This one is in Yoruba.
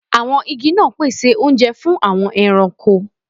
Àwọn igi náà pèsè oúnjẹ fún àwọn ẹranko